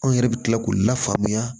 Anw yɛrɛ bɛ tila k'u lafaamuya